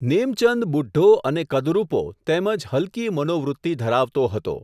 નેમચંદ બુઢ્ઢો અને કદરૂપો તેમજ હલકી મનોવૃત્તિ ધરાવતો હતો.